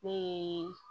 Ne ye